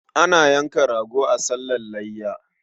Ana yanka rago a sallar layya.